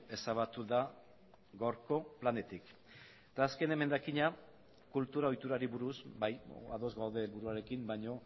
ezabatu da gaurko planetik eta azken emendakina kultura ohiturari buruz bai ados gaude helburuarekin baino